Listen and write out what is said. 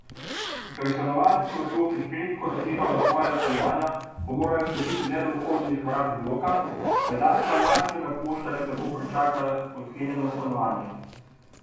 Ker stanovalci v blokih redko zaklepajo svoja stanovanja, ko morajo skočiti le do vhodnih vrat bloka, pajdaša lažnega poštarja tako pričaka odklenjeno stanovanje.